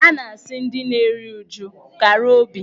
A na-asị ndị na-eri uju "kara obi".